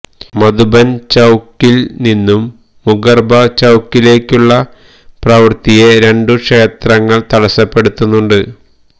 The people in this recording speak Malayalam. മധുബൻ ചൌക്കിൽ നിന്നും മുകർബ ചൌക്കിലേക്കുള്ള പ്രവൃത്തിയെ രണ്ട് ക്ഷേത്രങ്ങൾ തടസ്സപ്പെടുത്തുന്നുണ്ട്